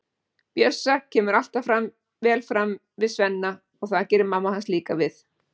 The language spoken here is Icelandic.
Bjössa, kemur alltaf vel fram við Svenna og það gerir mamma hans líka við